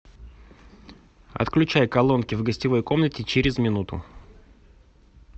отключай колонки в гостевой комнате через минуту